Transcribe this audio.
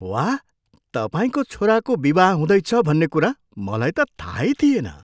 वाह! तपाईँको छोराको विवाह हुँदैछ भन्ने कुरा मलाई त थाहै थिएन!